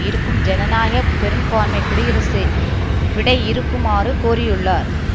இருக்கும் ஜனநாயக பெரும்பான்மை குடியரசு விடையிறுக்குமாறு கோரியுள்ளார்